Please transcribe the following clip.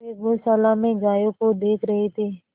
वे गौशाला में गायों को देख रहे थे